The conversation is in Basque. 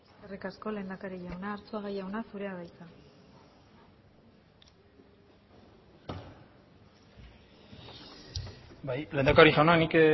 eskerrik asko lehendakari jauna arzuaga jauna zurea da hitza bai lehendakari jauna nik